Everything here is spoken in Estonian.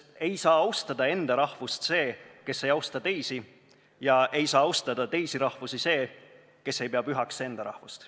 Ei saa austada enda rahvust see, kes ei austa teisi, ja ei saa austada teisi rahvusi see, kes ei pea pühaks enda rahvust.